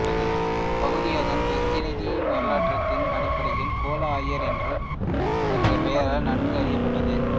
இப்பகுதி அதன் பிராந்திய வரலாற்றின் அடிப்படையில் கோலம் ஆயர் என்ற பெயரால் நன்கு அறியப்பட்டது